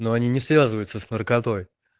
но они не связывается с наркотой